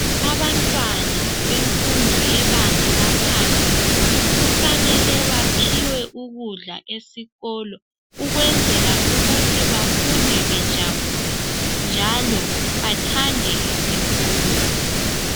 abantwana bemfundo lebanga laphansi kufanele baphiwe ukudla esikolo ukwenzela ukuba bafunde bejabulile njalobathande isikolo